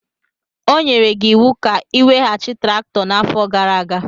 O nyere gị iwu ka ị weghachi traktọ n'afọ gara aga.